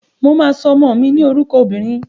Mo máa sọ ọmọ mi ní orúkọ obìnrin.